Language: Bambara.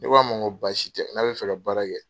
Ne k'a ma n ko baasi tɛ n'a bɛ fɛ ka baara kɛ.